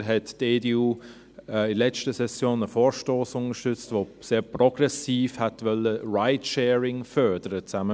Des Weiteren hat die EDU in der letzten Session einen Vorstoss unterstützt, der sehr progressiv Ride-Sharing hätte fördern wollen.